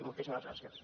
moltíssimes gràcies